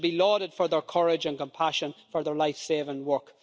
They should be lauded for their courage and compassion for their life saving work.